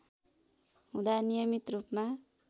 हुँदा नियमित रूपमा